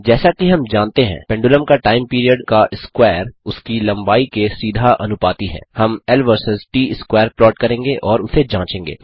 जैसा कि हम जानते हैं पेंडुलम का टाइम पीरियड का स्कवैर उसकी लम्बाई के सीधा अनुपाती है हम L versus T square plot करेंगे और उसे जाँचेंगे